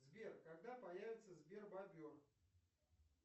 сбер когда появится сбер бобер